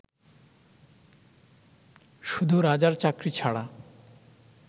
শুধু রাজার চাকরী ছাড়া